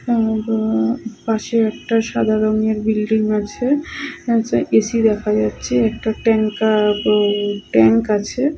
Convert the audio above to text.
হুম বও পাশে একটা সাদা রংয়ের বিল্ডিং আছে। একটা এ. সি. দেখা যাচ্ছে। একটা ট্যাঙ্কা ব ট্যাংক আছে।